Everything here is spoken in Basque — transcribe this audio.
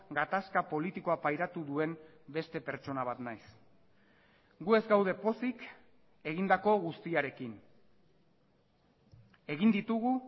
gatazka politikoa pairatu duen beste pertsona bat naiz gu ez gaude pozik egindako guztiarekin egin ditugu